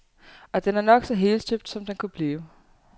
Og den er nok så helstøbt, som den kunne blive.